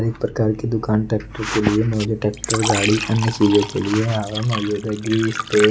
कई प्रकार की दुकान ट्रैक्टर के लिए ट्रैक्टर गाड़ी अन्य चीजों के लिए यहां वहां मौजूद है ग्रीस तेल--